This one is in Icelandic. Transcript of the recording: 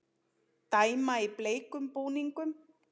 Dæma í bleikum búningum